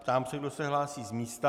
Ptám se, kdo se hlásí z místa.